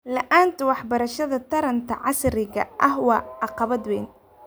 La'aanta waxbarashada taranta casriga ah waa caqabad weyn.